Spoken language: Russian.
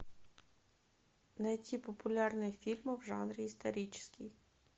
найти популярные фильмы в жанре исторический